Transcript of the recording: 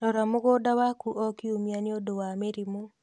Rora mũgũnda waku o kiumia nĩ ũndũ wa mĩrimũ.